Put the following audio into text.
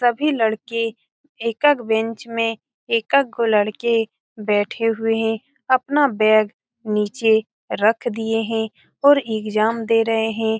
सभी लड़के एक-एक बेंच में एक-एक गो लड़के बेठे हुए हैं अपना बेग नीचे रख दिए हैं और एग्जाम दे रहे हैं।